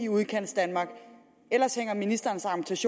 udkantsdanmark ellers hænger ministerens